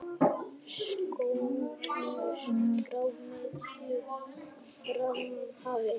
Skonsur frá Miðjarðarhafi